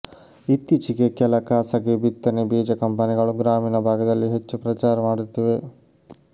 ಇತ್ತೀಚೆಗೆ ಕೆಲ ಖಾಸಗಿ ಬಿತ್ತನೆ ಬೀಜ ಕಂಪನಿಗಳು ಗ್ರಾಮೀಣ ಭಾಗದಲ್ಲಿ ಹೆಚ್ಚು ಪ್ರಚಾರ ಮಾಡುತ್ತಿವೆ